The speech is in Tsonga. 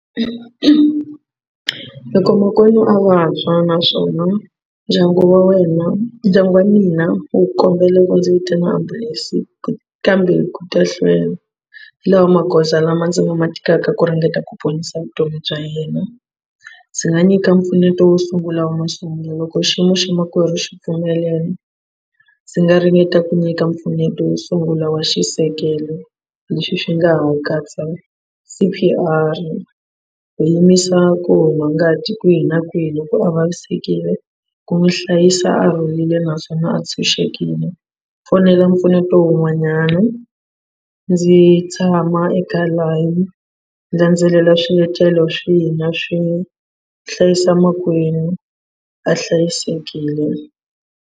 Loko makwerhu a vabya naswona ndyangu wa wena ndyangu wa mina wu kombela ku ndzi vitana ambulense kambe ku ta hlwela hi lawa magoza lama ndzi nga ma tekaka ku ringeta ku ponisa vutomi bya yena. Ndzi nga nyika mpfuneto wo sungula wa masungulo loko xiyimo xa makwerhu xi pfumelela ndzi nga ringeta ku nyika mpfuneto wo sungula wa xisekelo lexi xi nga ha katsa c_p_r, ku yimisa ku huma ngati kwihi na kwihi loko a vavisekile, ku n'wi hlayisa a rhulile naswona a tshunxekile, fonela mpfuneto un'wanyana ndzi tshama eka line ndzi landzelela swiletelo swihi na swi hlayisa makwenu a hlayisekile.